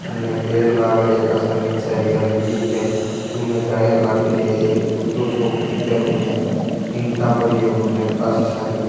उने पेड़ लाग रहा है खासा नीचे हरियाली दिखे बुने जालियां लागेड़ी है एक कुत्तो सो दिखे बुने ईंटा पड़ी बुने काफी सारी --